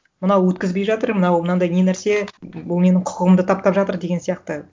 мынау өткізбей жатыр мынау мынандай не нәрсе бұл менің құқығымды таптап жатыр деген сияқты